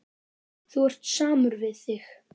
Þú ert samur við þig!